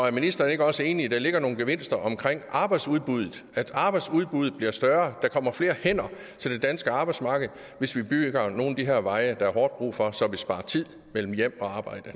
er ministeren ikke også enig i at der ligger nogle gevinster omkring arbejdsudbuddet at arbejdsudbuddet bliver større at der kommer flere hænder til det danske arbejdsmarked hvis vi bygger nogle af de her veje der er hårdt brug for så vi sparer tid mellem hjem og arbejde